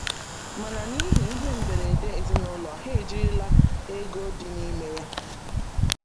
Mana n’ihi ihe mberede ezinụlọ, ha ejirila ego dị n’ime ya.